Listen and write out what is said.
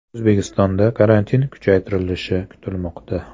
O‘zbekistonda karantin kuchaytirilishi kutilmoqda.